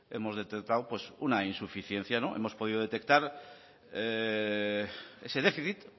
hemos detectado una insuficiencia hemos podido detectar ese déficit